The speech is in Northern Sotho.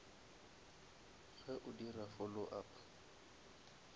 ge o dira follow up